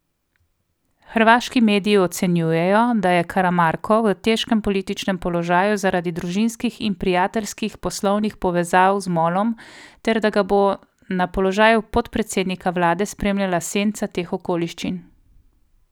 Hrvaški mediji ocenjujejo, da je Karamarko v težkem političnem položaju zaradi družinskih in prijateljskih poslovnih povezav z Molom ter da ga bo na položaju podpredsednika vlade spremljala senca teh okoliščin.